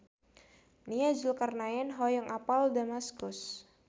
Nia Zulkarnaen hoyong apal Damaskus